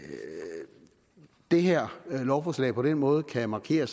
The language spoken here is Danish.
det her lovforslag på den måde kan markere